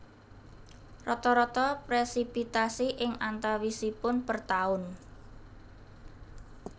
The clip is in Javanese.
Rata rata presipitasi ing antawisipun per taun